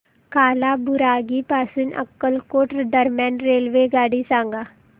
कालाबुरागी पासून अक्कलकोट दरम्यान रेल्वेगाडी सांगा